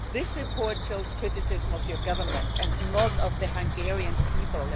This report shows criticism of your government and not of the Hungarian people